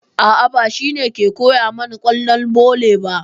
A'a, ba shi ne ke koya mana ƙwallon volley ba.